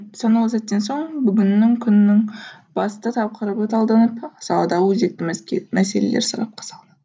санаулы сәттен соң бүгіннің күннің басты тақырыбы талданып саладағы өзекті мәселелер сарапқа салынады